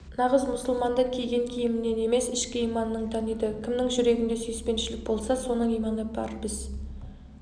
нағыз мұсылманды киген киімінен емес ішкі иманынан таниды кімнің жүрегінде сүйіспеншілік болса соның иманы бар біз